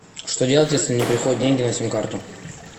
что делать если не приходят деньги на сим карту